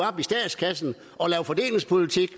op i statskassen og lave fordelingspolitik